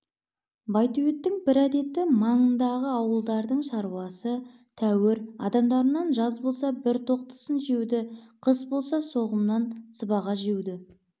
байтөбеттің бір әдеті маңындағы ауылдардың шаруасы тәуір адамдарынан жаз болса бір тоқтысын жеуді қыс болса соғымнан сыбаға жеуді